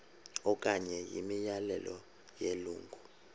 okanye imiyalelo yelungu